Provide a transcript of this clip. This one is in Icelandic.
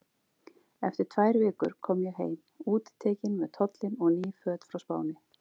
Eftir tvær vikur kom ég heim, útitekin með tollinn og ný föt frá Spáni.